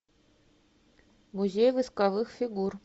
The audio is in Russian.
музей восковых фигур